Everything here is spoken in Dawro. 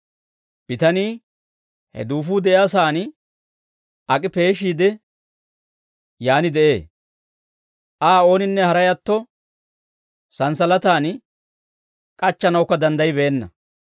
Bitanii he duufuu de'iyaa saan ak'i peeshiide, yaan de'ee; Aa ooninne haray atto, santsalataan k'achchanawukka danddaybbeenna.